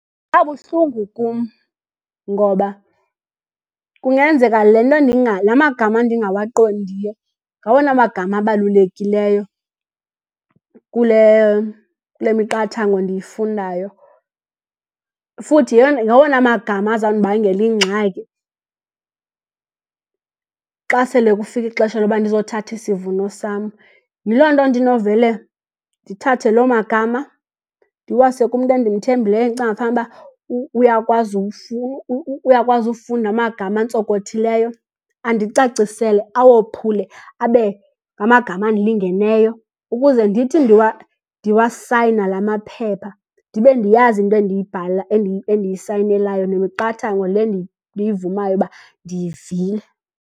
Ngabuhlungu kum ngoba kungenzeka le nto la magama ndingawaqondiyo ngawona magama abalulekileyo kule miqathango ndiyifundayo. Futhi ngawona magama azawundibangela ingxaki xa sele kufike ixesha lokuba ndiyothatha isivuno sam. Yiloo nto ndinovele ndithathe lo magama ndiwase kumntu endimthembile endicinga fanukuba uyakwazi ukufunda amagama antsokothileyo, andicacisele awophule abe ngamagama andilingeneyo ukuze ndithi ndiwasayina la maphepha ndibe ndiyazi into endiyisayinelayo nemiqathango le ndiyivumayo ukuba ndiyivile.